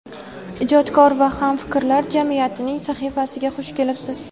ijodkor va hamfikrlar jamiyatining sahifasiga xush kelibsiz.